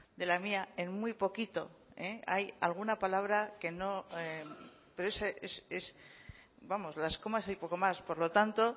de la mía en muy poquito hay alguna palabra que no pero es vamos las comas y poco más por lo tanto